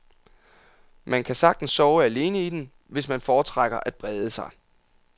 Man kan sagtens sove alene i den, hvis man foretrækker at brede sig.